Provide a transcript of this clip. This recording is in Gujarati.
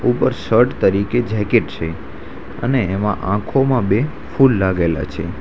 ઉપર શર્ટ તરીકે જેકેટ છે અને એમાં આંખોમાં બે ફૂલ લાગેલા છે.